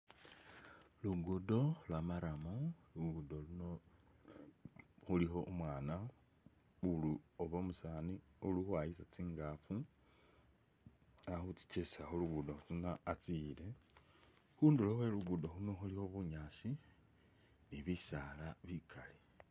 Luguddo lwa'murram luguddo luuno khulikho umwana uli oba umusani uli khukhwayisa tsingafu alikhuchichesa khulugudo khuno atsiyile khundulo khwe luguddo luuno khulikho bunyaasi ni bisaala bikaali